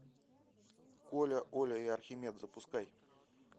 коля оля и архимед запускай